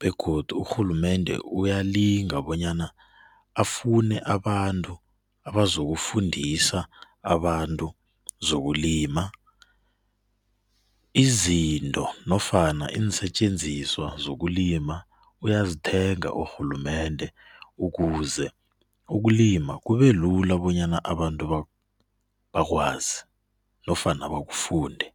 begodu urhulumende uyalinga bonyana afune abantu abazokufundisa abantu zokulima. Izinto nofana iinsetjensiswa zokulima uyazithenga urhulumende ukuze ukulima kubelula bonyana abantu bakwazi nofana bakufunde.